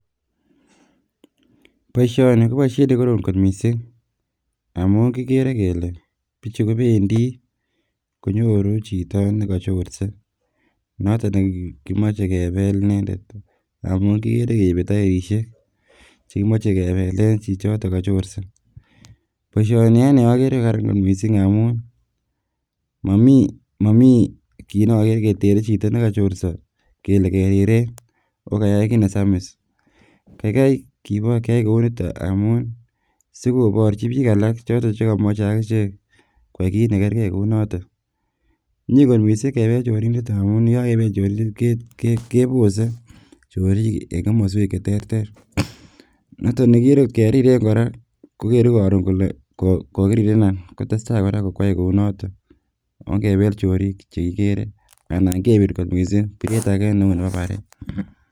Boishoni ko boishet nekorom kot mising amun kikere kele bichu kobendi konyoru chito nekochorse noton nekimoche kebel inendet amun kikere keibe tairishek chekomoche kebelen chichotok kochorse, boishoni okere anee ko Karan kot mising amun momii kiit nokere ketere chito nekochorso kele keriren akokayai kiit nesamis, kaikai keyai kouniton amun sikoborchi biik alak choton chekomoche akichek koyai kiit nekerkei kounotok, miee kot mising kebel chorindet amun yekakebel chorindet kebose chorik en komoswek cheterter, noton nekikere ng'ot keriren kora kokere koron kolee kokirirenan kotestai kora koyai Kou noton, ong'ebel chorik chekikere anan kebir kot mising biret akee neu nebo baret.